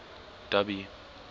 dubby